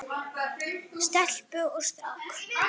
Stelpu og strák.